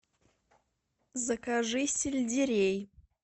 закажи сельдерей